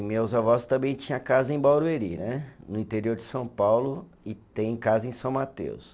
Meus avós também tinha casa em Barueri né, no interior de São Paulo, e tem casa em São Mateus.